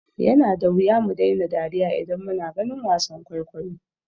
Yana da wuya mu daina dariya idan muna ganin wasan kwaikwayo.